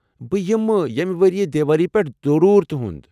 بہٕ یِمہٕ ییٚمہِ ؤرۍیہٕ دیوٲلی پیٚٹھ ضرور تُہنٛد۔